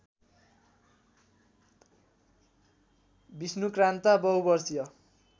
विष्णुक्रान्ता बहुवर्षीय